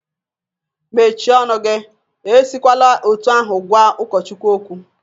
Mechie ọnụ gi! Esikwala otu ahụ gwa ụkọchukwu okwu.